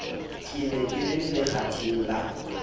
ne ke le lekgatheng la